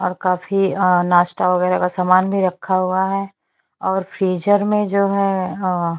और काफी नाश्ता वगैरा का सामान रखा हुआ है और फ्रीजर में जो है अ--